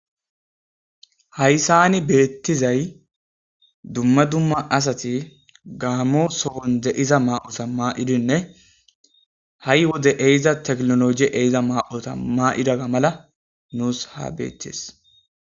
Hayssan beettizay dumma dumma asati Gaammo sohon de'iza ma'oza ma'idinne ha'i wode ehiza teknoloje ehiza ma'oza ma'idaga mala nus ha bettees.